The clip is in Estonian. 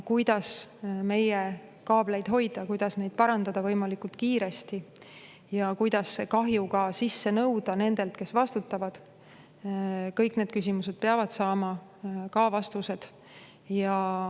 Kuidas meie kaableid hoida, kuidas neid parandada võimalikult kiiresti ja kuidas kahju sisse nõuda nendelt, kes vastutavad – kõik need küsimused peavad saama vastused.